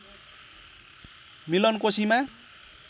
मिलन कोशीमा